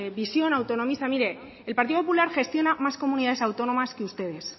visión autonomista mire el partido popular gestiona más comunidades autónomas que ustedes